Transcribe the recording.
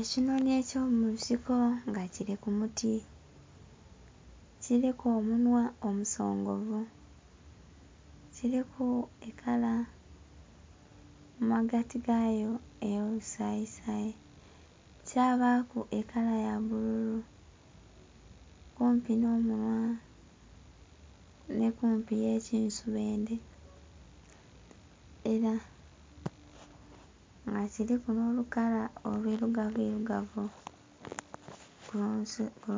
Ekinhonhi eky'omunsiko nga kili ku muti. Kiliku omunhwa omusongovu. Kiliku ekala mu magati gayo ey'olusayisayi, kyabaaku ekala ya bbululu kumpi nh'omunhwa nhi kumpi ye kinsubendhe. Ela nga kiliku nh'olukala olwilugavuirugavu ku